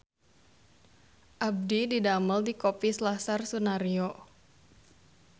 Abdi didamel di Kopi Selasar Sunaryo